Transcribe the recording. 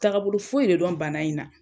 Taagabolo foyi de dɔn bana in na